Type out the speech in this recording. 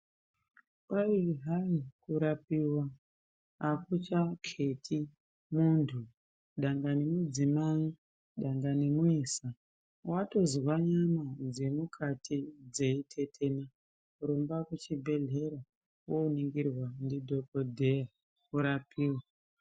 Kwai hai kurapiva hakuchaketi muntu dangani mudzimai dangani muisa. Vatozwa nyama dzemukati dzeitetena rumba kuchibhedhlera voningirwa ndidhogodheya urapiwe.